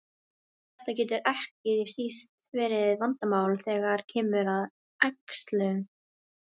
Þetta getur ekki síst verið vandamál þegar kemur að æxlun.